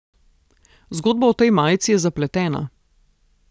Zgodba o tej majici je zapletena.